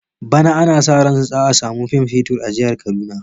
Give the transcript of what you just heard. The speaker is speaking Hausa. Bana ana sa ran za a samu man fetur a jihar Kaduna.